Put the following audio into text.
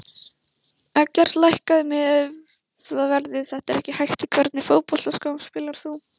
Eggert lækkaðu miðaverðið þetta er ekki hægt Í hvernig fótboltaskóm spilar þú?